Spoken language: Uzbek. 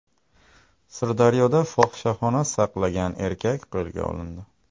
Sirdaryoda fohishaxona saqlagan erkak qo‘lga olindi.